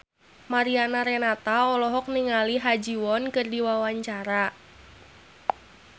Mariana Renata olohok ningali Ha Ji Won keur diwawancara